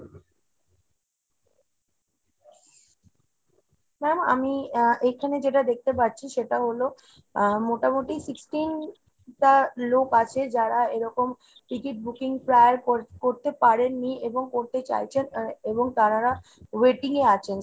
ma'am আমি আ এইখানে যেটা দেখতে পাচ্ছি সেটা হলো আ মোটামুটি sixteen টা লোক আছে যারা এরকম ticket booking প্রায় করতে পারেন নি এবং করতে চাইছেন এবং তারারা waiting এ আছেন